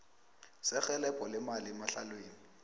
serhelebho lemali emahlelweni